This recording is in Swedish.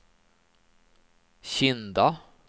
Kinda